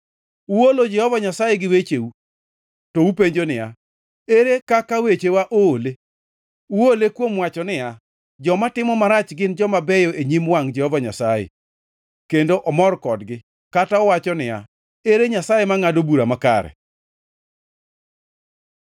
Uolo Jehova Nyasaye gi wecheu. To upenjo niya, “Ere kaka wechewa oole?” Uole kuom wacho niya, “Joma timo marach gin joma beyo e nyim wangʼ Jehova Nyasaye, kendo omor kodgi,” kata uwacho niya, “Ere Nyasaye mangʼado bura makare?”